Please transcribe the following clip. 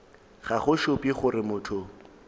ga go šupe gore motho